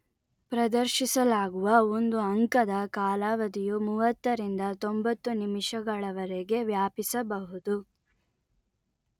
ಪ್ರದರ್ಶಿಸಲಾಗುವ ಒಂದು ಅಂಕದ ಕಾಲಾವಧಿಯು ಮೂವತ್ತ ರಿಂದ ತೊಂಬತ್ತು ನಿಮಿಷಗಳವರೆಗೆ ವ್ಯಾಪಿಸಬಹುದು